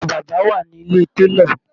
Aṣọ bàbá wà ní ilé télọ̀